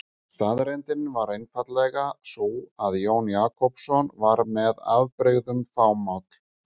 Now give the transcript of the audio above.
Staðreyndin var einfaldlega sú að Jón Jakobsson var með afbrigðum fámáll.